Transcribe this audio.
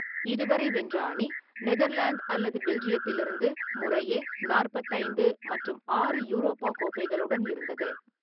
இதுவரை, வென்ற அணி நெதர்லாந்து அல்லது பெல்ஜியத்திலிருந்து முறையே நாற்பத்தி ஐந்து மற்றும் ஆறு யூரோபா கோப்பைகளுடன் இருந்தது.